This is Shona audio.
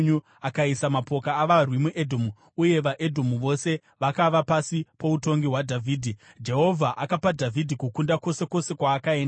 Akaisa mapoka avarwi muEdhomu uye vaEdhomu vose vakava pasi poutongi hwaDhavhidhi. Jehovha akapa Dhavhidhi kukunda kwose kwose kwaakaenda.